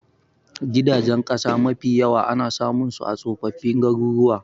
Gidajen ƙasa mafi yawa ana samun su a tsofaffin garuruwa